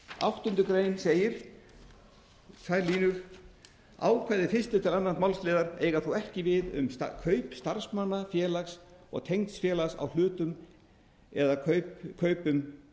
áttundu grein segir tvær línur ákvæði fyrstu til annars málsliðar eiga þó ekki við um kaupstarfsmanna félags og tengd félags á hlutum eða kaupum